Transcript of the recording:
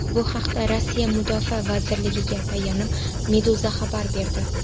Bu haqda Rossiya Mudofaa vazirligiga tayanib, Meduza xabar berdi .